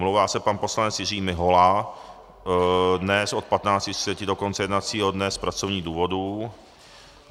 Omlouvá se pan poslanec Jiří Mihola dnes od 15.30 do konce jednacího dne z pracovních důvodů.